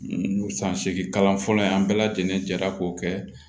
san seginkalan fɔlɔ in an bɛɛ lajɛlen jɛra k'o kɛ